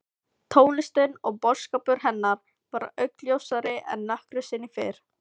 Tónlistin og boðskapur hennar varð augljósari en nokkru sinni fyrr.